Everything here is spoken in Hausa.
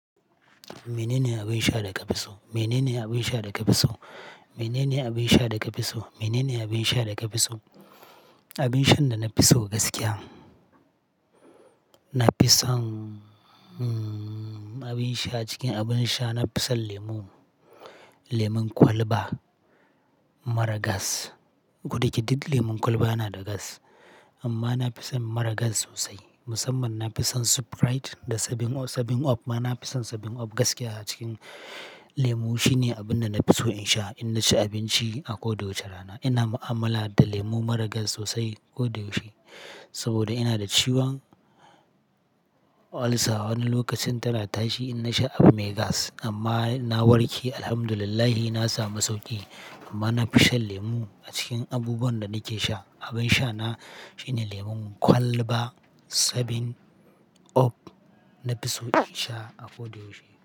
Mene ne abin sha da ka fi so? Mene ne abin sha da ka fi so? Mene ne abin sha da ka fi so? Mene ne abin sha da ka fi so? Abin sha da na fi so gaskiya, na fi son, hm, abin sha cikin abin sha na fi son lemu. Lemun kwalba, mara gas. Ko da yake duk lemon kwalba yana da gas amma na fi son mara gas sosai. Musamman na fi son Sprite da Seven-up, Seven-up. Amma na fi son Seven-up gaskiya a cikin lemu. Shi ne abin da na fi so in sha in na ci abinci a ko da wace rana. Ina ma'amala da lemu mara gas sosai ko da yaushe saboda ina da ciwon olsa. Wani lokacin ta rarrashi in na sha Abumegas amma na warke, alhamdulillah. Na samu sauƙi amma na fi shan lemu a cikin abubuwan da nake sha. Abin sha na shine lemon kwalba Seven-up, na fi so in sha a ko da yaushe.